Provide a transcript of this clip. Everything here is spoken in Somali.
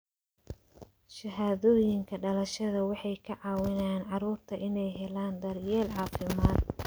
Shahaadooyinka dhalashada waxay ka caawiyaan carruurta inay helaan daryeel caafimaad.